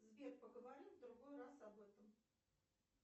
сбер поговорим в другой раз об этом